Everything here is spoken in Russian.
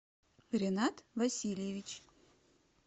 ринат васильевич